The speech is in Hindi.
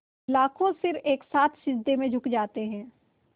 लाखों सिर एक साथ सिजदे में झुक जाते हैं